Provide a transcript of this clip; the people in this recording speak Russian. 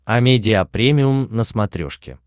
амедиа премиум на смотрешке